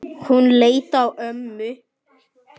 Hún leit á ömmu.